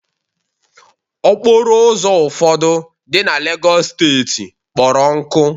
okporo ụzọ ụfọdụ dị na lagos steeti kpọrọ nkụ